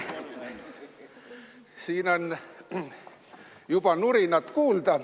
Siin on juba nurinat kuulda.